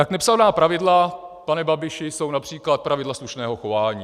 Tak nepsaná pravidla, pane Babiši, jsou například pravidla slušného chování.